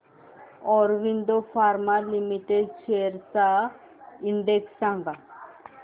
Aurobindo pharma limited shares चा index सांगा